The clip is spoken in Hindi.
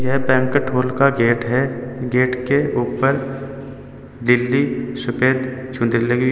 यह बैंकट हॉल का गेट है। गेट के ऊपर निलली सुफेद चुनरी लगी --